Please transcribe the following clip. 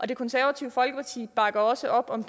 det konservative folkeparti bakker også op om